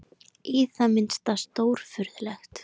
Í það minnsta stórfurðulegt.